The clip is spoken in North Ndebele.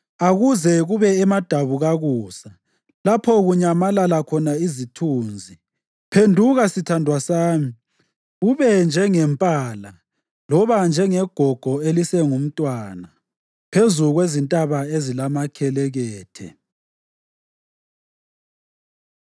Akuze kube emadabukakusa lapho kunyamalala khona izithunzi, phenduka sithandwa sami, ube njengempala loba njengegogo elisengumntwana phezu kwezintaba ezilamakhelekethe.